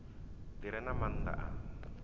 ḓi re na maanḓa a